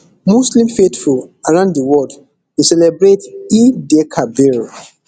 muslim faithful around di world dey celebrate eidelkabir